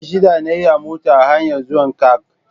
Awa shida na yi a mota a hanyar zuwana Kank